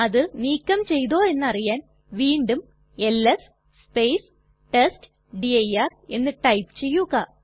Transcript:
അത് നീക്കം ചെയ്തോ എന്നറിയാൻ വീണ്ടും എൽഎസ് ടെസ്റ്റ്ഡിർ എന്ന് ടൈപ്പ് ചെയ്യുക